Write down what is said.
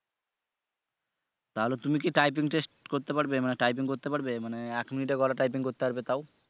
তাহলে তুমি কি typing test করতে পারবে মানে typing করতে পারবে মানে এক মিনিটে কয়টা typing করতে পারবে তাও